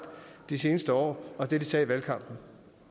de seneste år og det de sagde i valgkampen